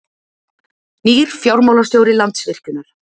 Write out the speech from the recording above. Nýr fjármálastjóri Landsvirkjunar